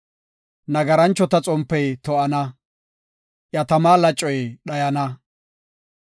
Nagaranchota xompey to7ana; iya tama lacoy dhayana.